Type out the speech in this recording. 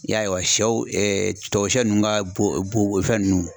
I y'a ye wa, tubabu sɛ ninnu ka bon fɛn ninnu.